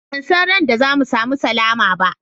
Ban san ran da za mu samu sallama ba.